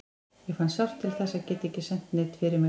Ég fann sárt til þess að geta ekki sent neinn fyrir mig.